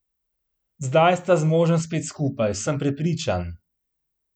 Zdaj sta z možem spet skupaj, sem prepričan.